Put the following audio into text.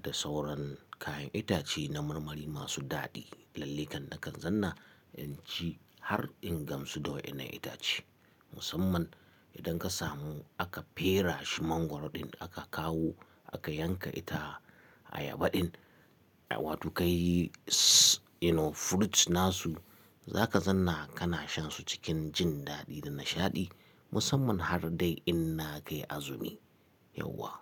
da sauran kayan itace na marmari masu daɗi. Lallai kam nakan zanna in ci har in gamsu da waɗannan itace. Musamman idan ka samu aka fereshi Mangwaro ɗin aka kawo aka yanka ita Ayaba ɗin, wato kayi you know fruit na su, za ka zanna kana shan su cikin jin daɗi da nishaɗi. Musamman har dai in na kai Azumi. Yauwa.